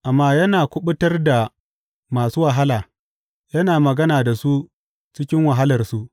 Amma yana kuɓutar da masu wahala; yana magana da su cikin wahalarsu.